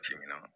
Timinadiya